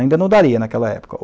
Ainda não daria naquela época.